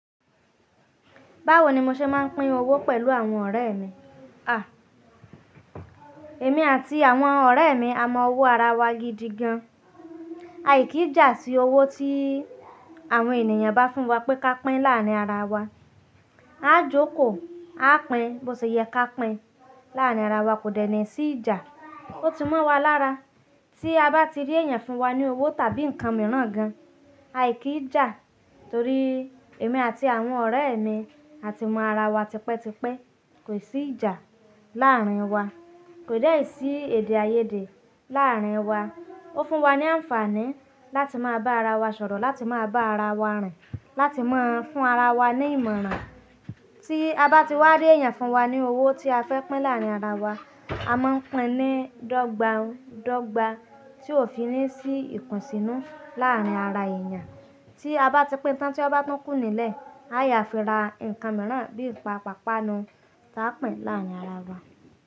Báwo ni mo ṣe máa ń pín owó pẹ̀lú àwọn ọ̀rẹ́ mi? À, èmi àti àwọn ọ̀rẹ́ mi a mọ owó ara wa gidi gan. A kì í jà sí owó tí àwọn ènìyàn bá fún wa pé ka pín láàárín ara wa. A jókòó, a pín bó ṣe yẹ ká pín láàrín ara wa, kò dènà sí ìjà. Ó ti mọ́ wa lára tí a bá ti rí èèyàn fún wa ní owó tàbí nǹkan mìíràn gan, a kì í jà torí èmi àti àwọn ọ̀rẹ́ mi a ti mọ ara wa tipẹ́tipẹ́. Kò sí ìjà láárín wa, kò dẹ̀ sí èdè-áiyedé láàrín wa. Ó fún wa ní àǹfààní láti máa bá ara wa sọ̀rọ̀, láti máa bá ara wa rìn, láti máa fún ara wa ní ìmọ̀ràn. Tí a bá ti wá rí èèyàn fún wa ní owó tí a fẹ́ pín láárín ara wa, a máa ń pín ní dọ́gba dọ́gba tí ó fi ní sí ìkùnsínú làárín ara èèyàn. Tí a bá ti pín tán tí ó bá tún kù nílẹ̀, a yá fi ra ǹkan mìíràn bí í pa pàpá nu tí a pín láárín ara wa.